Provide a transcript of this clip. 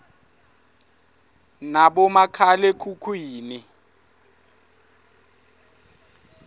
nabomakhale khukhwini